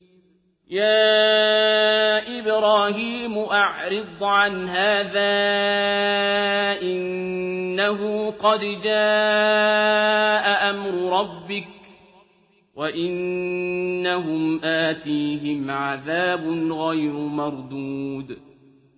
يَا إِبْرَاهِيمُ أَعْرِضْ عَنْ هَٰذَا ۖ إِنَّهُ قَدْ جَاءَ أَمْرُ رَبِّكَ ۖ وَإِنَّهُمْ آتِيهِمْ عَذَابٌ غَيْرُ مَرْدُودٍ